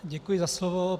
Děkuji za slovo.